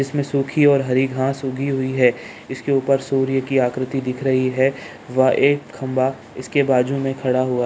इसमें सुखी और हरी घास उगी हुई है इसके ऊपर सूर्य की आकृति दिख रही है वह एक खंभा इसके बाजू में खड़ा हुआ --